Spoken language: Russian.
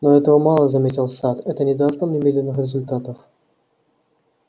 но этого мало заметил сатт это не даст нам немедленных результатов